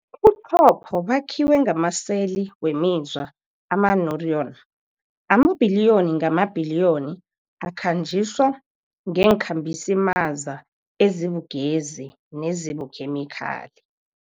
Ubuchopho bakhiwe ngamaseli wemizwa, amaneuron, amabhiliyoni ngamabhiliyoni akhanjiswa ngeenkhambisimaza ezibugezi nezibukhemikhali.